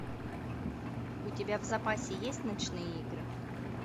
у тебя в запасе есть ночные игры